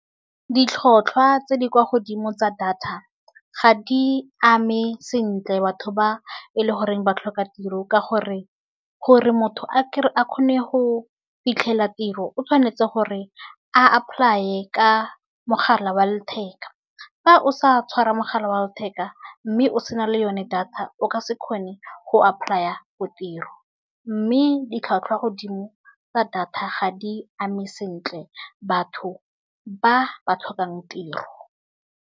Ditlhotlhwa tse di kwa godimo tsa data ga di ame sentle batho ba e le goreng ba tlhoka tiro. Ka gore, gore motho a kgone go fitlhela tiro o tshwanetse gore apply-e ka mogala wa letheka fa o sa tshwara mogala wa letheka mme o sena le yone data o ka se kgone go apply for tiro. Mme di tlhwatlhwa godimo tsa data ga di ame sentle batho ba ba tlhokang tiro.